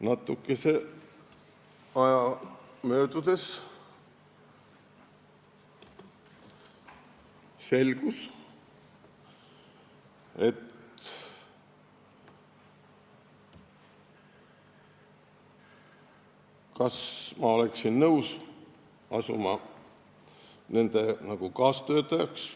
Natukese aja möödudes see selgus: ta küsis, kas ma oleksin nõus hakkama nende kaastöötajaks.